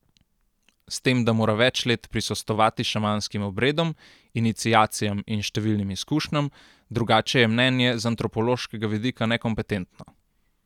S tem, da mora več let prisostvovati šamanskim obredom, iniciacijam in številnim izkušnjam, drugače je mnenje z antropološkega vidika nekompetentno.